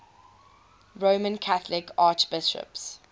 roman catholic archbishops